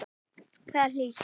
Þar er hlýtt.